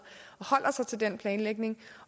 og holder sig til den planlægning